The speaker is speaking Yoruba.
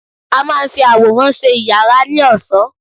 A máa ń fi àwòrán ṣe yàrá ní ọ̀ṣọ́